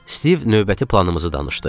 Stiv növbəti planımızı danışdı.